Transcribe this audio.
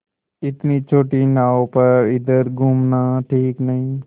इतनी छोटी नाव पर इधर घूमना ठीक नहीं